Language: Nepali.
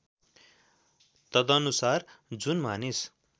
तदनुसार जुन मानिस